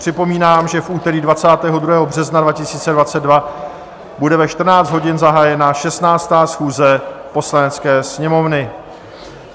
Připomínám, že v úterý 22. března 2022 bude ve 14 hodin zahájena 16. schůze Poslanecké sněmovny.